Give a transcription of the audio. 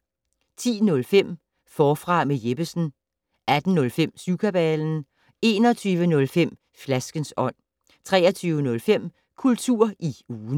10:05: Forfra med Jeppesen 18:05: Syvkabalen 21:05: Flaskens ånd 23:05: Kultur i ugen